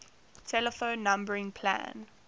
telephone numbering plan